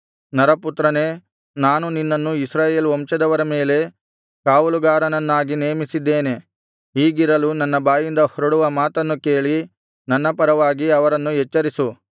ನರಪುತ್ರನೇ ನಾನು ನಿನ್ನನ್ನು ಇಸ್ರಾಯೇಲ್ ವಂಶದವರ ಮೇಲೆ ಕಾವಲುಗಾರನನ್ನಾಗಿ ನೇಮಿಸಿದ್ದೇನೆ ಹೀಗಿರಲು ನನ್ನ ಬಾಯಿಂದ ಹೊರಡುವ ಮಾತನ್ನು ಕೇಳಿ ನನ್ನ ಪರವಾಗಿ ಅವರನ್ನು ಎಚ್ಚರಿಸು